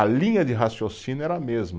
A linha de raciocínio era a mesma.